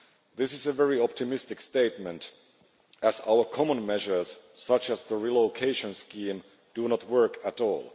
This is a very optimistic statement, as our common measures, such as the relocation scheme, do not work at all.